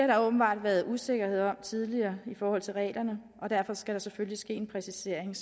der åbenbart været usikkerhed om tidligere i forhold til reglerne og derfor skal der selvfølgelig ske en præcisering